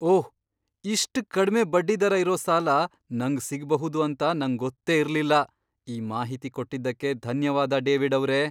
ಓಹ್! ಇಷ್ಟ್ ಕಡ್ಮೆ ಬಡ್ಡಿದರ ಇರೋ ಸಾಲ ನಂಗ್ ಸಿಗ್ಬಹುದು ಅಂತ ನಂಗೊತ್ತೇ ಇರ್ಲಿಲ್ಲ. ಈ ಮಾಹಿತಿ ಕೊಟ್ಟಿದ್ದಕ್ಕೆ ಧನ್ಯವಾದ ಡೇವಿಡ್ಅವ್ರೇ.